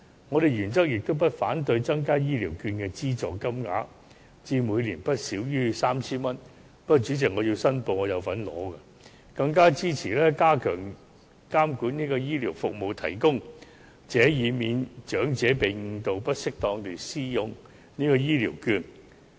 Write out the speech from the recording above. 我們原則上不反對增加醫療券的資助金額至每年不少於 3,000 元——主席，我申報我亦有領取醫療券——更支持加強監管醫療服務提供者，以免長者被誤導不適當地使用醫療券。